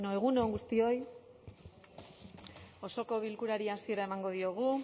bueno egun on guztioi osoko bilkurari hasiera emango diogu